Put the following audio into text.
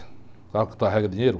Carro que carrega dinheiro